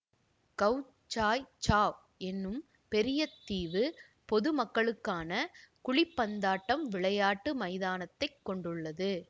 கவ் Sai Chau எனும் பெரிய தீவு பொது மக்களுக்கான குழிப்பந்தாட்டம் விளையாட்டு மைதானத்தைக் கொண்டுள்ளது